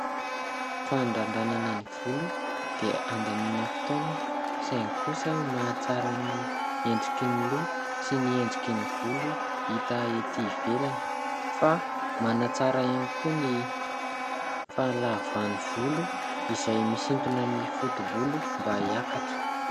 Fandrandranana ny volo dia handaniana fotoana, saingy kosa manatsara ny endriky ny loha sy ny endriky ny volo hita ety ivelany fa manatsara ihany koa ny fahalavan'ny volo izay misintona ny foto-bolo mba hiakatra.